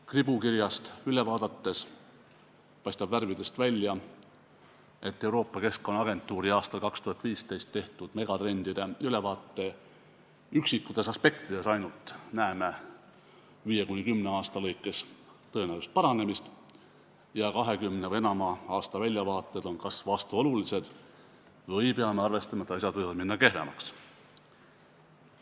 Kribukirjast üle vaadates paistab värvidest välja, et Euroopa Keskkonnaagentuuri aastal 2015 tehtud megatrendide ülevaate ainult üksikutes aspektides näeme 5–10 aasta jooksul tõenäolist paranemist ja 20 või enama aasta väljavaated on kas vastuolulised või peame arvestama, et asjad võivad minna kehvemaks.